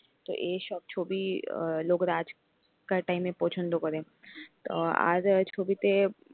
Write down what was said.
তো এইসব ছবি লোকরা আজ কার time এ পছন্দ করে আর আর ছবিতে,